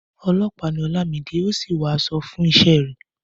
Ọlọ́pàá ni Olamide, ó sì wọ aṣọ fún iṣẹ́ rẹ̀.